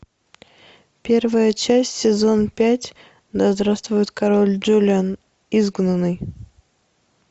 первая часть сезон пять да здравствует король джулиан изгнанный